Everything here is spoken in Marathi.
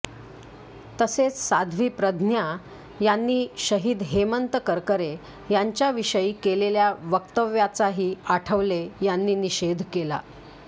तसेच साध्वी प्रज्ञा यांनी शहीद हेमंत करकरे यांच्याविषयी केलेल्या वक्तव्याचाही आठवले यांनी निषेध केला